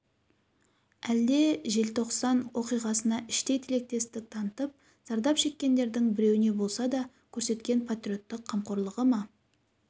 әлде желтоқсан оқиғасына іштей тілектестік танытып зардап шеккендердің біреуіне болса да көрсеткен патриоттық қамқорлығы ма